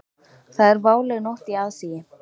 Það er váleg nótt í aðsigi.